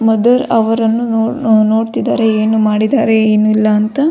ಮೊದಲು ಅವರನ್ನು ನೋಡ್ತಿದ್ದಾರೆ ಏನು ಮಾಡಿದ್ದಾರೆ ಏನು ಇಲ್ಲ ಅಂತ.